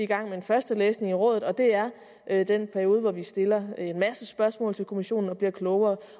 gang med en første læsning i rådet og det er er den periode hvor vi stiller en masse spørgsmål til kommissionen og bliver klogere